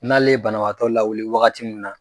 N'ale ye banabaatɔ lawuli waagati min na.